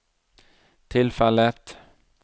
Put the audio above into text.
tilfellet